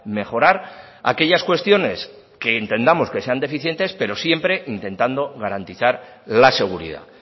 mejorar aquellas cuestiones que entendamos que sean deficientes pero siempre intentando garantizar la seguridad